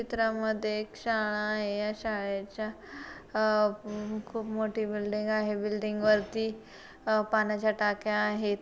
चित्रा मध्ये एक शाळा आहे या शाळेच्या आ खूप मोठी बिल्डिंग आहे बिल्डिंग वरती आ पाण्याच्या टाक्या आहेत.